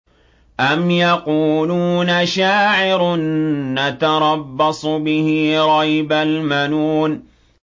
أَمْ يَقُولُونَ شَاعِرٌ نَّتَرَبَّصُ بِهِ رَيْبَ الْمَنُونِ